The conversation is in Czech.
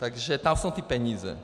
Takže tam jsou ty peníze.